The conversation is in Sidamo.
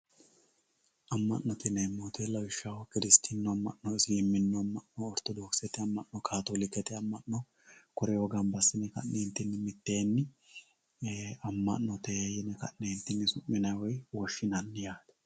amma'note yineemmo woyte lawishshaho kiristinnu amma'no ortodokisete amma'no kaatoolikete amman'no koreoo gamba assine ka'ne mitteenni amma'note yine woshshinanni woy su'minanni yaate